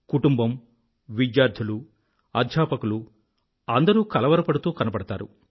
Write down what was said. కుటుంబం విద్యార్ధులూ అధ్యాపకులూ అందరూ కలవరపడుతూ కనబడతారు